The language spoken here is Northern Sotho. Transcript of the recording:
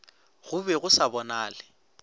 go be go sa bonale